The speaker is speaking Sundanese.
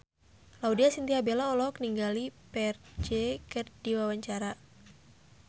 Laudya Chintya Bella olohok ningali Ferdge keur diwawancara